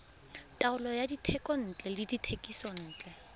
taolo ya dithekontle le dithekisontle